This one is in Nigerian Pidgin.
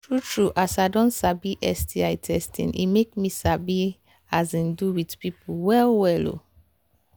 true true as i don sabi sti testing e make me sabi um do with people well well um